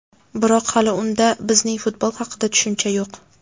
Biroq hali unda bizning futbol haqida tushuncha yo‘q.